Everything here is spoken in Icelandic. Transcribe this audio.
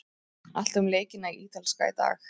Allt um leikina í Ítalska í dag.